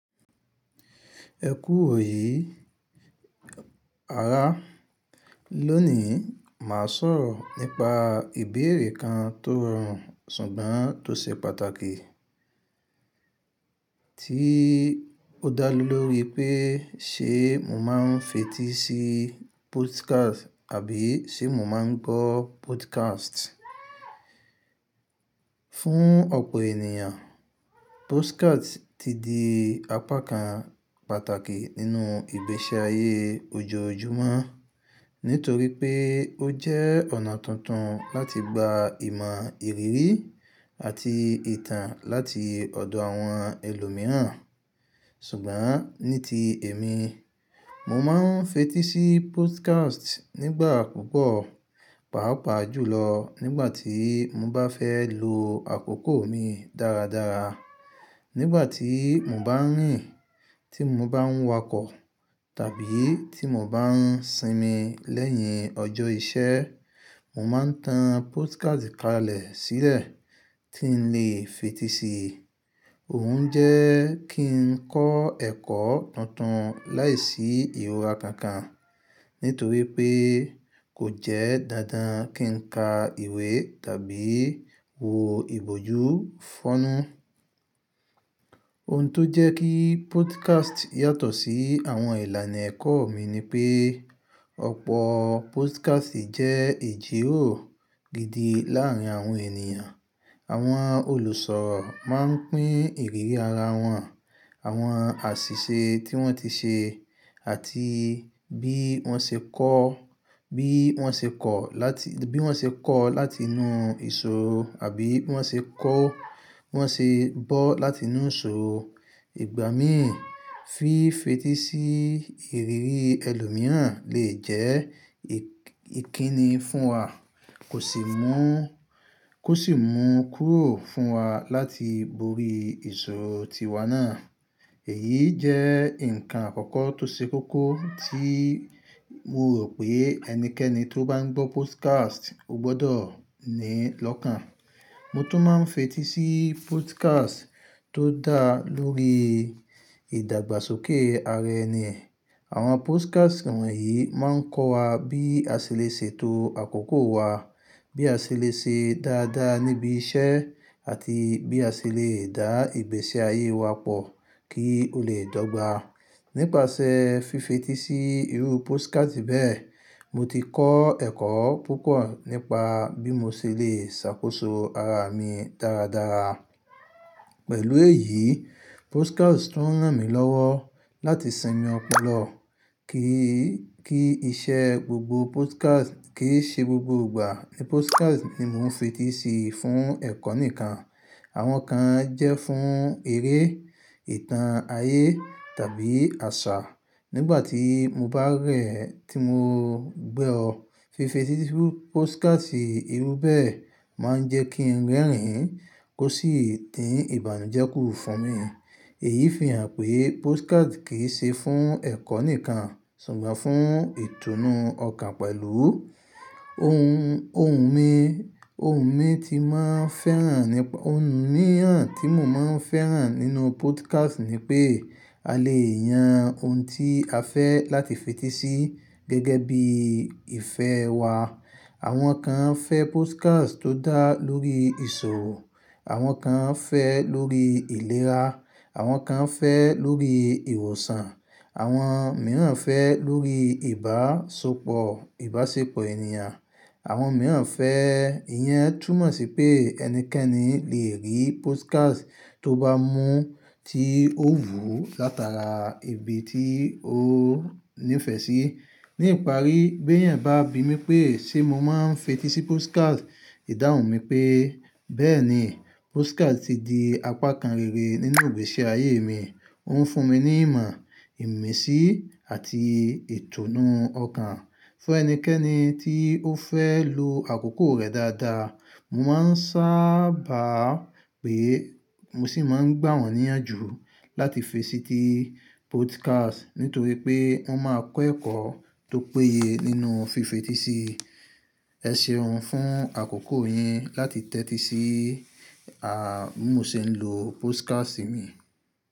Ẹ kú òye ara. Lónìí, màá sọ̀rọ̀ nípa ìbéèrè kan tó rọrùn ṣùgbọ́n tó ṣe pàtàkì, tí ó dá ló lóore pé ṣe mo máa ń fetí sí podcast àbí ṣe mo máa ń gbọ́ podcast? Fún ọ̀pọ̀ ènìyàn, podcast ti di apá kan pàtàkì nínú ìgbésí ayé ojoojúmọ́ nítorí pé ó jẹ́ ọ̀nà tuntun láti gba ìmọ̀ ìrírí àti ìtàn láti ọ̀dọ̀ àwọn ẹlòmíràn. Ṣùgbọ́n ní ti èmi, mo máa ń fetí sí podcast nígbà púpọ̀, pàápàá jùlọ nígbà tí mo bá fẹ́ lo àkókò mi dáradára. Nígbà tí mo bá rìn, tí mo bá ń wakọ̀, tàbí tí mo bá ń sinmi lẹ́yìn ọjọ́ iṣẹ́, mo máa ń tan podcast kalẹ̀ sílẹ̀ tí ń le fetí sí. Òun jẹ́ kí n kọ́ ẹ̀kọ́ tuntun láìsí ìhùwà kankan nítorí pé kò jẹ́ dándáan kí n ka ìwé tàbí wo ìbòjú fọ́nù. Ohun tó jẹ́ kí podcast yàtọ̀ sí àwọn ìlànà ẹ̀kọ́ mi ni pé ọ̀pọ̀ podcast jẹ́ ìjíròrò gidi láàárín àwọn ènìyàn. Àwọn olùsọ̀ máa ń pín ìrírí ara wọn, àwọn àṣìṣe tí wọ́n ti ṣe àti bí wọ́n ṣe kọ́, bí wọ́n ṣe kọ̀ láti, bí wọ́n ṣe kọ́ láti inú ìṣòro àbí bí wọ́n ṣe kọ́, wọ́n ṣe bọ́ láti inú ìṣòro. Ìgbà míì, fífetí sí ìrírí ẹlòmíràn lè jẹ́ ìkíni fún wa, kò sì mú, kò sì mú kúrò fún wa láti borí ìṣòro tiwa náà. Èyí jẹ́ ǹkan àkọ́kọ́ tó ṣe kókó tí mo rò pé ẹnikẹ́ni tó bá ń gbọ́ podcast ó gbọdọ̀ ní lọ́kàn. Mo tún máa ń fetí sí podcast tó dá lórí ìdàgbàsókè ara ẹni. Àwọn podcast wọ̀nyí máa ń kọ́ wa bí a ṣe lè ṣètò àkókò wa, bí a ṣe lè ṣe dáadáa níbi iṣẹ́ àti bí a ṣe lè dá ìgbésí ayé wa pọ̀ kí ó lè dọ́gba. Nípasẹ̀ fífetí sí irú podcast bẹ́ẹ̀, mo ti kọ́ ẹ̀kọ́ púpọ̀ nípa bí mo ṣe lè ṣàkóso ara mi dáradára. Pẹ̀lú èyí, podcast tún ń ràn mí lọ́wọ́ láti sinmi ọpọlọ. Kì í, kí iṣẹ́ gbogbo podcast kì í ṣe gbogbo ìgbà ní podcast ni mo ń fetí sí fún ẹ̀kọ́ nìkan. Àwọn kan jẹ́ fún eré, ìtàn ayé tàbí àṣà. Nígbà tí mo bá rẹ̀ tí mo gbọ́, fífetí sí podcast irú bẹ́ẹ̀ máa ń jẹ́ kí ń rẹ́rìn-ín kó sì din ìbànújẹ́ kúrò fún mi. Èyí fi hàn pé podcast kì í ṣe fún ẹ̀kọ́ nìkan ṣùgbọ́n fún ìtùnú ọkàn pẹ̀lú. Ohun, ohun mi, ohun mi tí mò ń fẹ́ràn nípa, ohun mìíràn tí mò ń fẹ́ràn nínú podcast ni pé a lè yan ohun tí a fẹ́ láti fetí sí gẹ́gẹ́ bí ìfẹ́ wa. Àwọn kan fẹ́ podcast tó dá lórí ìṣòro, àwọn kan fẹ́ lórí ìlera, àwọn kan fẹ́ lórí ìwòsàn, àwọn mìíràn fẹ́ lórí ìbáṣepọ̀, ìbáṣepọ̀ ènìyàn, àwọn mìíràn fẹ́ iyan. Túnmọ̀ sí pé ẹnikẹ́ni lè rí podcast tó bá mú tí ó wù látara ibi tí ó ní ìfẹ́ sí. Ní ìparí, bí ẹ̀yàn bá bi mí pé ṣe mo máa ń fetí sí podcast, ìdáhùn mi pé bẹ́ẹ̀ni, podcast ti di apá kan rere nínú ìgbésí ayé mi. Ó ń fún mi ní ìmọ̀, ìmísí àti ìtùnú ọkàn. Fún ẹnikẹ́ni tí ó fẹ́ lo àkókò rẹ̀ dáadáa, mo máa ń sáàbà pé mo sì máa ń gbà wọ́n níyànjú láti fetí sí podcast nítorí pé wọ́n máa kọ́ ẹ̀kọ́ tó péye nínú fífetí sí. Ẹ ṣeun fún àkókò yín láti tẹ́tí sí à mú ṣe ń lo podcast mi.